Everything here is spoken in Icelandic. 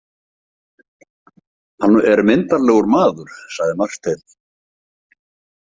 Hann er myndarlegur maður, sagði Marteinn.